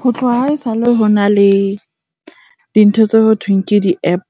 Ho tloha haesale ho na le dintho tse ho thweng ke di-App